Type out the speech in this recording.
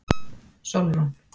Sólrún